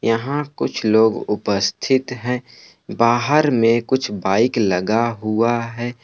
यहां कुछ लोग उपस्थित हैं। बाहर में कुछ बाइक लगा हुआ है।